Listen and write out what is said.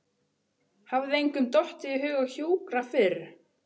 Hafði engum dottið í hug að hjúkra fyrr?